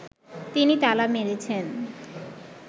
তিনি তালা মেরেছেন